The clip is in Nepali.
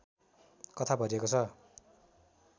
कथा भरिएको छ